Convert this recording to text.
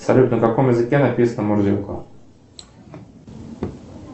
салют на каком языке написана мурзилка